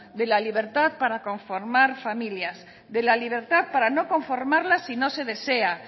de la libertad para conformar familias de la libertad para no conformarlas si no se desea